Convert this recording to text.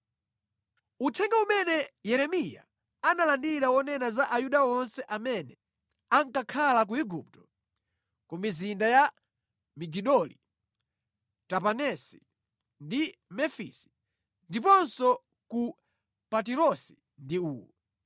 Uthenga umene Yeremiya analandira wonena za Ayuda onse amene ankakhala ku Igupto, ku mizinda ya Migidoli, Tapanesi ndi Mefisi, ndiponso ku Patirosi ndi uwu: